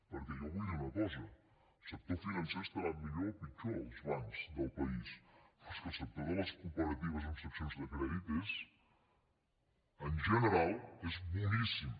perquè jo vull dir una cosa el sector financer estarà millor o pitjor els bancs del país però és que el sector de les cooperatives amb seccions de crèdit és en general boníssim